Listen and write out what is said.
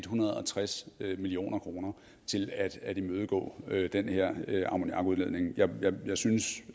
hundrede og tres million kroner til at imødegå den her ammoniakudledning jeg synes